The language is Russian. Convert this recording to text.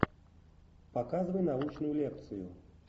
показывай научную лекцию